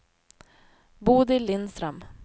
Bodil Lindström